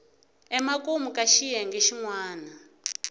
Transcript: emakumu ka xiyenge xin wana